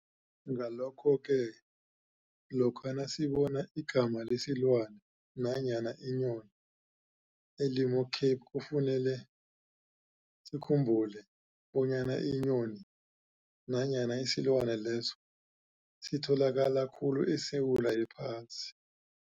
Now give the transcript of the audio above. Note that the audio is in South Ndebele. Ngalokho-ke, lokha nasibona igama lesilwani nanyana inyoni elimo-Cape kufanele sikhumbule bonyana inyoni nanyana isilwani leso sitholakala khulu esewula yephasi.